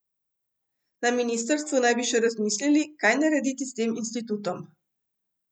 Na ministrstvu naj bi še razmislili, kaj narediti s tem institutom.